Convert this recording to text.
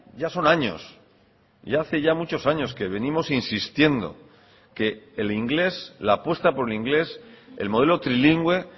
ya son años ya hace ya muchos años que venimos insistiendo que el inglés la apuesta por el inglés el modelo trilingüe